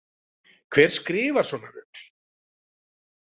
Hver skrifar svona rugl